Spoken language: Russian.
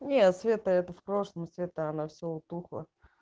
нет света это в прошлом света она всё утухло